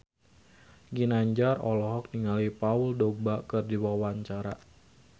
Ginanjar olohok ningali Paul Dogba keur diwawancara